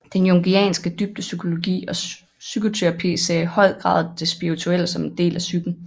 Den jungianske dybdepsykologi og psykoterapi ser i høj grad det spirituelle som en del af psyken